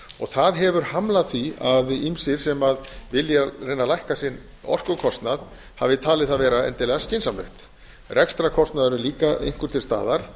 það hefur hamlað því að ýmsir sem vilja reyna að lækka sinn orkukostnað hafi talið það vera endilega skynsamlegt rekstrarkostnaðurinn líka einhver til staðar